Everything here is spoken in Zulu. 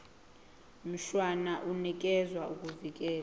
mshwana unikeza ukuvikelwa